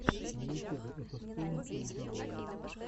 на ютюбе этостоун эй дабл ю